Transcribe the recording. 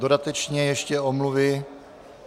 Dodatečně ještě omluvy.